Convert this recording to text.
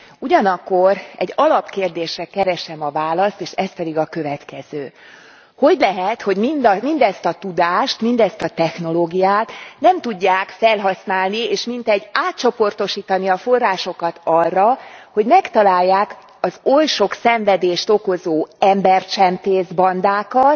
Ugyanakkor egy alapkérdésre keresem a választ, és ez pedig a következő hogy lehet, hogy mindezt a tudást, mindezt a technológiát nem tudják felhasználni, és mintegy átcsoportosítani a forrásokat arra, hogy megtalálják az oly sok szenvedést okozó embercsempészbandákat,